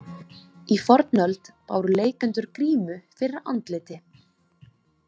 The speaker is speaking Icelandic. Í fornöld báru leikendur grímu fyrir andliti.